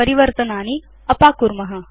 परिवर्तनानि अपाकुर्म